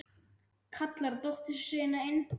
Kallar á dóttur sína inn.